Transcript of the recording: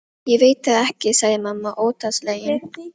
Ég veit það ekki, sagði mamma óttaslegin.